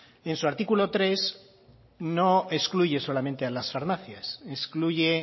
en su artículo tres no excluye solamente a las farmacias excluye